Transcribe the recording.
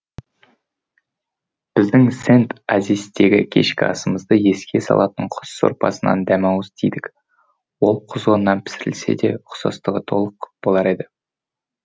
біздің сент ассиздегі кешкі асымызды еске салатын құс сорпасынан дәмауыз тидік ол құзғыннан пісірілсе де ұқсастығы толық болар еді